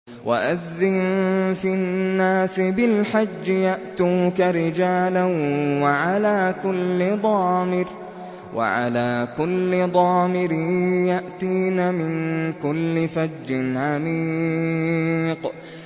وَأَذِّن فِي النَّاسِ بِالْحَجِّ يَأْتُوكَ رِجَالًا وَعَلَىٰ كُلِّ ضَامِرٍ يَأْتِينَ مِن كُلِّ فَجٍّ عَمِيقٍ